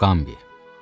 Muqambi.